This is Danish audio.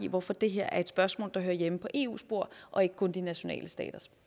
hvorfor det her er et spørgsmål der hører hjemme på eu spor og ikke kun de nationale staters